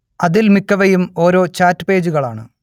അതിൽ മിക്കവയും ഓരോ ചാറ്റ് പേജുകൾ ആണ്